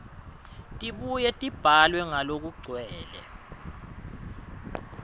tibuye tibhalwe ngalokugcwele